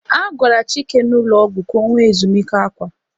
A gwara Chike n'ụlọ ọgwụ ka ọ nwee ezumike akwa.